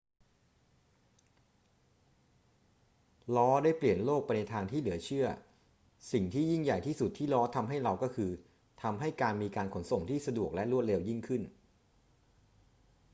ล้อได้เปลี่ยนโลกไปในทางที่เหลือเชื่อ สิ่งที่ยิ่งใหญ่ที่สุดที่ล้อทำให้เราก็คือ ทำให้การมีการขนส่งที่สะดวกและรวดเร็วยิ่งขึ้น